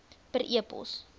per e pos